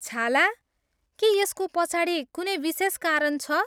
छाला? के यसको पछाडि कुनै विशेष कारण छ?